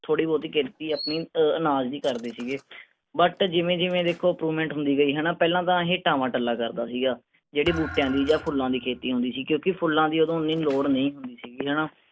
ਥੋੜੀ ਬਹੁਤੀ ਅਨਾਜ਼ ਦੀ ਕਰਦੇ ਸੀਗੇ but ਜਿਵੇਂ ਜਿਵੇਂ ਦੇਖੋ improvement ਹੁੰਦੀ ਗਈ ਹੈਨਾ ਪਹਿਲਾਂ ਤਾਂ ਇਹ ਟਾਵਾਂ ਟੱਲਾ ਕਰਦਾ ਸੀਗਾ ਜਿਹੜੀ ਬੂਟਿਆਂ ਦੀ ਜਾਂ ਫੁੱਲਾਂ ਦੀ ਖੇਤੀ ਹੁੰਦੀ ਸੀ ਕਿਉਂਕਿ ਫੁੱਲਾਂ ਦੀ ਉਦੋਂ ਓਹਨੀ ਲੋੜ ਨਹੀਂ ਹੁੰਦੀ ਸੀਗੀ ਹੈਨਾ।